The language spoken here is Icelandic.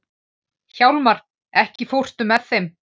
Hjálmar, ekki fórstu með þeim?